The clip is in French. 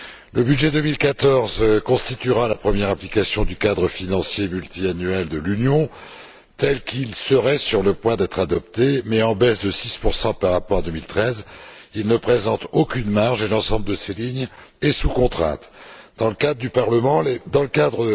Le budget 2014 constituera la première application du cadre financier pluriannuel de l'Union tel qu'il serait sur le point d'être adopté mais, en baisse de 6 par rapport à 2013, il ne présente aucune marge et l'ensemble de ses lignes est sous contrainte. Dans ce cadre